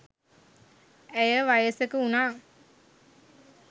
ඇය වයසක වුනා